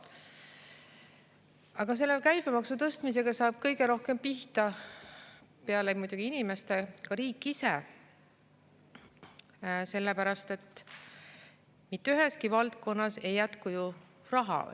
Aga selle käibemaksu tõstmisega saab kõige rohkem pihta – muidugi peale inimeste – riik ise, sellepärast et mitte üheski valdkonnas ei jätku raha.